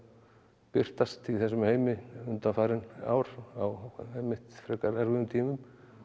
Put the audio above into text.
birtast í þessum heimi undanfarin ár á einmitt frekar erfiðum tímum en